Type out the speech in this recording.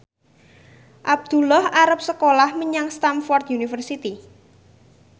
Abdullah arep sekolah menyang Stamford University